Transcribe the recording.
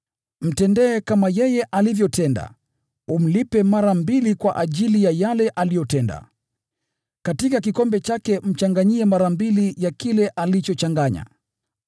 Mtendee kama yeye alivyotenda; umlipe mara mbili kwa ajili ya yale aliyotenda. Katika kikombe chake mchanganyie mara mbili ya kile alichochanganya.